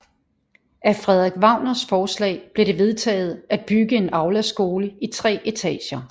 Af Frederik Wagners forslag blev det vedtaget at bygge en aulaskole i tre etager